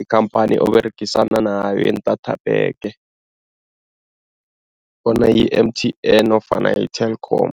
ikhamphani oberegisana nayo yeentathapheke, bona yi-M_T_N nofana yi-Telkom.